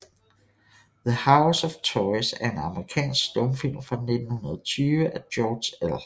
The House of Toys er en amerikansk stumfilm fra 1920 af George L